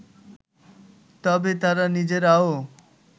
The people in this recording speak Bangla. তবে তারা নিজেরাও